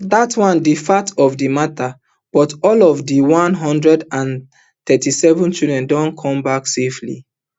dat na di fact of di mata but all of di one hundred and thirty-seven children don come back safely